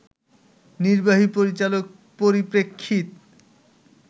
নির্বাহী পরিচালক, পরিপ্রেক্ষিত